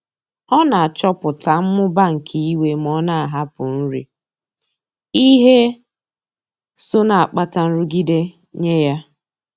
Ọ na-achọpụta mmụba nke iwe ma ọ na-ahapụ nri, ihe so na-akpata nrụgide nye ya.